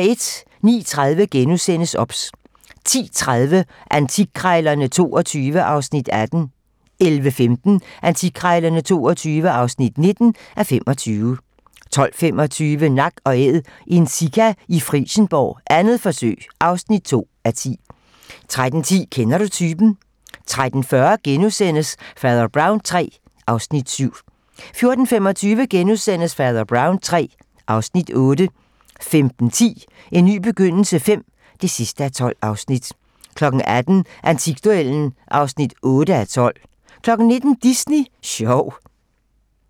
09:30: OBS * 10:30: Antikkrejlerne XXII (18:25) 11:15: Antikkrejlerne XXII (19:25) 12:25: Nak & Æd - en sika i Frijsenborg, 2. forsøg (2:10) 13:10: Kender du typen? 13:40: Fader Brown III (Afs. 7)* 14:25: Fader Brown III (Afs. 8)* 15:10: En ny begyndelse V (12:12) 18:00: Antikduellen (8:12) 19:00: Disney Sjov